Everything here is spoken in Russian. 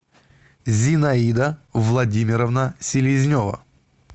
зинаида владимировна селезнева